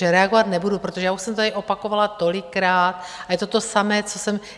Takže reagovat nebudu, protože já už jsem to tady opakovala tolikrát a je to to samé, co jsem...